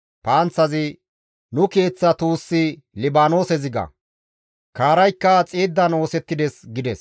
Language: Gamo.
«Nu keeththa tuussi Libaanoose ziga; kaaraykka xiiddan oosettides» gides.